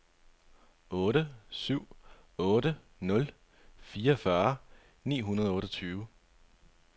otte syv otte nul fireogfyrre ni hundrede og otteogtyve